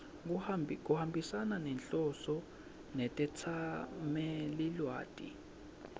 kuhambisana nenhloso netetsamelilwati